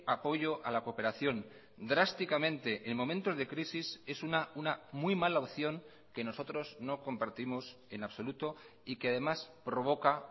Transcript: apoyo a la cooperación drásticamente en momentos de crisis es una muy mala opción que nosotros no compartimos en absoluto y que además provoca